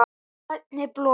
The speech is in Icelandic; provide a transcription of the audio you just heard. Í grænni blokk